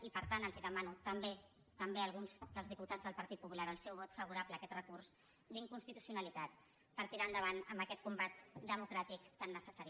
i per tant els demano també a alguns dels diputats del partit popular el seu vot favorable a aquest recurs d’inconstitucionalitat per tirar endavant amb aquest combat democràtic tan necessari